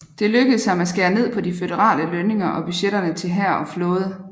Det lykkedes ham at skære ned på de føderale lønninger og budgetterne til hær og flåde